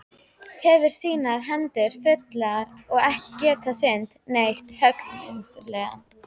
Hefur sínar hendur fullar og ekki getað sinnt neitt höggmyndalistinni.